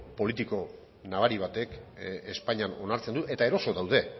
politiko nabari batek espainian onartzen du eta eroso daude